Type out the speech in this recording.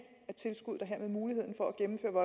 af mulighed for